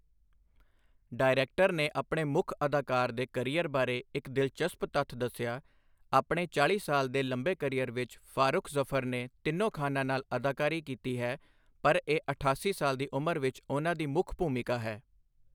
Director ਨੇ ਆਪਣੇ ਮੁੱਖ ਅਦਾਕਾਰ ਦੇ ਕਰੀਅਰ ਬਾਰੇ ਇੱਕ ਦਿਲਚਸਪ ਤੱਥ ਦੱਸਿਆ, ਆਪਣੇ ਚਾਲ੍ਹੀ ਸਾਲ ਦੇ ਲੰਬੇ ਕਰੀਅਰ ਵਿੱਚ ਫਾਰੁਖ ਜਫਰ ਨੇ ਤਿੰਨੋਂ ਖਾਨਾਂ ਨਾਲ ਅਦਾਕਾਰੀ ਕੀਤੀ ਹੈ, ਪਰ ਇਹ ਅਠਾਸੀ ਸਾਲ ਦੀ ਉਮਰ ਵਿੱਚ ਉਨ੍ਹਾਂ ਦੀ ਮੁੱਖ ਭੂਮਿਕਾ ਹੈ।